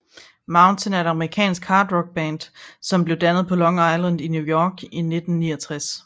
Mountain er et amerikansk hard rock band som blev dannet på Long Island i New York i 1969